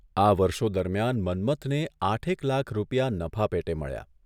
આ વર્ષો દરમિયાન મન્મથને આઠેક લાખ રૂપિયા નફા પેટે મળ્યા.